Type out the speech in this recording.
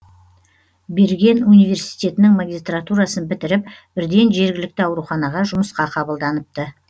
берген университетінің магистратурасын бітіріп бірден жергілікті ауруханаға жұмысқа қабылданыпты